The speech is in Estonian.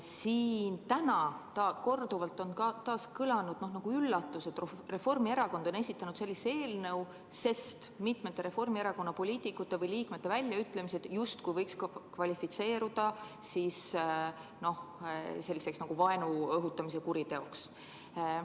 Siin on täna korduvalt kõlanud nagu üllatus, et Reformierakond on esitanud sellise eelnõu, sest mitmete Reformierakonna poliitikute või liikmete väljaütlemised võiks justkui kvalifitseeruda vaenu õhutamise kuriteoks.